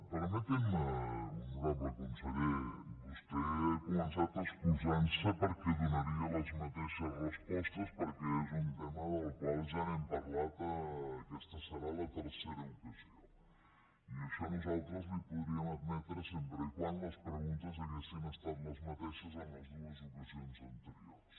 permeti’m honorable conseller vostè ha començat excusant se perquè donaria les mateixes respostes perquè és un tema del qual ja hem parlat aquesta serà la tercera ocasió i això nosaltres li ho podríem admetre sempre que les preguntes haguessin estat les mateixes en les dues ocasions anteriors